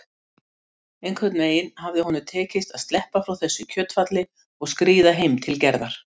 Einhvern veginn hafði honum tekist að sleppa frá þessu kjötfjalli og skríða heim til Gerðar.